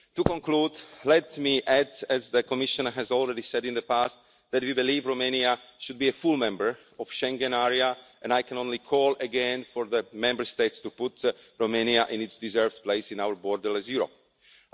To conclude, let me add, as the Commission has already said in the past, that we believe Romania should be a full member of the Schengen area and I can only call again for the Member States to put Romania in its deserved place in our borderless Europe.